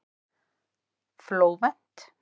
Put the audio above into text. Flóvent